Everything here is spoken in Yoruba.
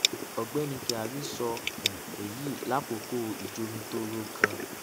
ọgbẹni kyari sọ um eyi lakoko ijomitoro kan ni